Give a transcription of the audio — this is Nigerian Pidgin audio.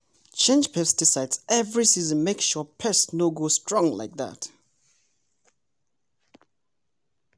change pesticide every season make sure pests no go strong like that.